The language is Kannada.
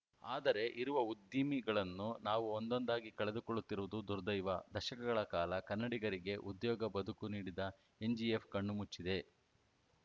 ಆದರೆ ಇರುವ ಉದ್ದಿಮೆಗಳನ್ನೂ ನಾವು ಒಂದೊಂದಾಗಿ ಕಳೆದುಕೊಳ್ಳುತ್ತಿರುವುದು ದುರ್ದೈವ ದಶಕಗಳ ಕಾಲ ಕನ್ನಡಿಗರಿಗೆ ಉದ್ಯೋಗಬದುಕು ನೀಡಿದ ಎನ್‌ಜಿಇಎಫ್‌ ಕಣ್ಣು ಮುಚ್ಚಿದೆ